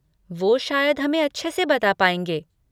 वो शायद हमें अच्छे से बता पाएँगे।